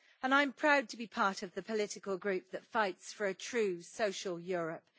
I am proud to be part of the political group that fights for a true, social Europe.